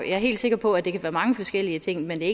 er helt sikker på at det kan være mange forskellige ting men det